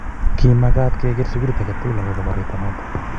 ki mekat ke ker sukulit age tugul akubo koroito noto